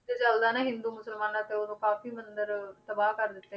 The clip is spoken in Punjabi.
ਤੇ ਚੱਲਦਾ ਨਾ ਹਿੰਦੂ ਮੁਸਲਮਾਨਾਂ ਤੇ ਉਦੋਂ ਕਾਫ਼ੀ ਮੰਦਿਰ ਤਬਾਹ ਕਰ ਦਿੱਤੇ